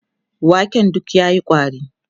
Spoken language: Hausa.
waken duk yayi ƙwari